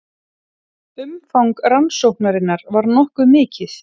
Umfang rannsóknarinnar var nokkuð mikið